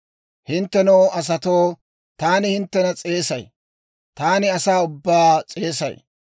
«Hinttenoo asatoo, taani hinttena s'eesay; taani asaa ubbaa s'eesay.